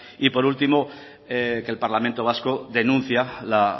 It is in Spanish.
y por último que el parlamento vasco denuncia la